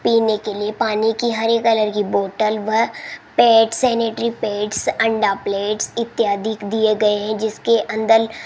पीने के लिए पानी की हरे कलर की बोतल व पैड्स सैनिटरी पैड्स अंडा प्लेट्स इत्यादि दिए गए हैं जिसके अंदर --